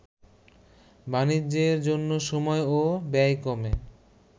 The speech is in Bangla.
বাণিজ্যের জন্য সময় ও ব্যয় কমে